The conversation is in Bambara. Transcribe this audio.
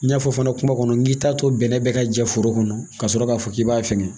N y'a fɔ fana kuma kɔnɔ n k'i t'a to bɛnɛ bɛɛ ka jɛ foro kɔnɔ ka sɔrɔ k'a fɔ k'i b'a fɛngɛ